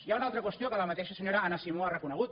hi ha una altra qüestió que la mateixa senyora anna simó ha reconegut